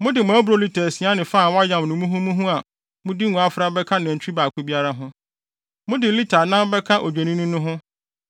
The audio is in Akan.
Mode mo aburow lita asia ne fa a wɔayam no muhumuhu a mode ngo afra bɛka nantwi baako biara ho. Mode lita anan bɛka Odwennini no ho;